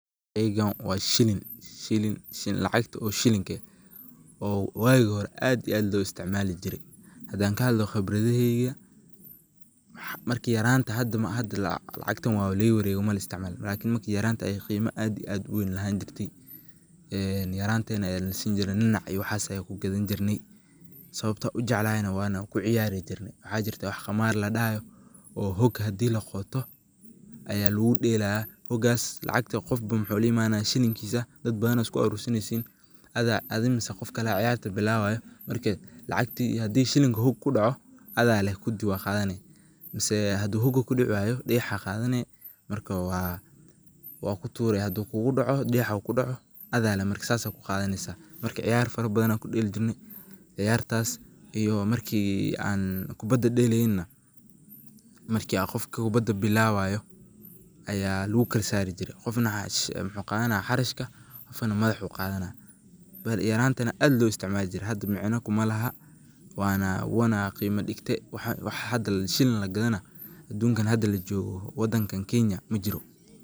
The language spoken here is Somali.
Sheygaan waa shiliin shiliin lacagtaa oo shiliinka eeh oo waagi hoore aad iyo aad loo isticmaali jiire. hadaan kaa hadloo qibradaheykaa maarki yaraanta hadaa maaha hadaa lacagtaan wabaa lagaa wareege malaa isticmaalo lakiin maarki yaraanta ayeey qiima aad iyo aad uweyn lahaani jirtay een yaranteeni ayaa nalaa sinii jiire niinac iyo waxas ayaan kuu gadaan jirnaay. sawabtaa ujeclahayna wanaa kuu ciyaari jiirne waxa jiirta wax qamaar laa dhahaayo oo hoog hadii laa qotoo aya laguu dhelaaya. hoogas lacagti qofba muxu laa imanaaya shiliinkisa dadbaana iskuu arursaneysiin ada adii miseh qof kaale cayaarta bilaawayo markee lacagtii hadii shiliinki hooga kuu dhaaco adaa leeh kuudi waa qadaane maseh haduu hogaa kuu dicii waayo dhagaaxa qadaane markaa waa kuu tuure haduu kugu dhaaco dhagaaxa kuu dhaaco ada leeh markaa sasaa kuu qadaaneysa. maarka ciyaar faraa baadana kuu dheeli jirnee ciyartaas iyo maarki aan kubaada dheleynaana maarki qofka kubadaa bilaabayo ayaa laguu kalaa saari jiire qofna muxu qadaana xarashkaa qofnaa madaxuu qadaana. yaraanteni aad loo isticmaali jiire hadaa micnaa kumaa lahaa wanaa wuuna qiima dhiingte wax hadaa shiliin lagaa daana adunkaan hadaa laa jogoo wadankaan kenya maajiro.